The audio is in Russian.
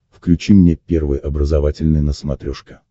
включи мне первый образовательный на смотрешке